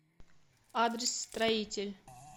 адрес строитель